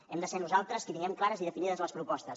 hem de ser nosaltres qui tinguem clares i definides les propostes